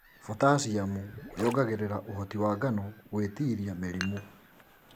Potassiumu yongagĩrĩra ũhoti wa ngano gwĩtiria mĩrimũ.